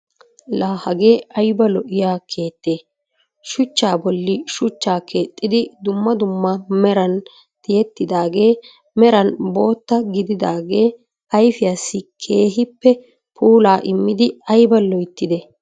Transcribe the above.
La hagee ayba lo"iyaa keettee? shuchchaa bolli shuuchchaa keexxidi dumma dumma meran tiyettidagee meran bootta gididaagee ayfiyaassi keehippe puulaa immidi ayba loyttidee!